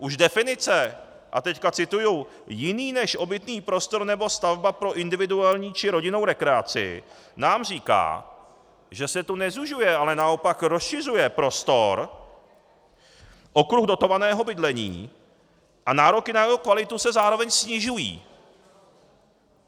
Už definice, a teď cituji: "jiný než obytný prostor nebo stavba pro individuální či rodinnou rekreaci" nám říká, že se tu nezužuje, ale naopak rozšiřuje prostor, okruh dotovaného bydlení a nároky na jeho kvalitu se zároveň snižují.